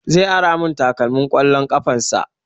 Zai ara mun takalmin ƙwallon ƙafan sa